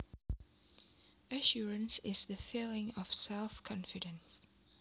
Assurance is the feeling of self confidence